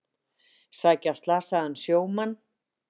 Sækja slasaðan sjómann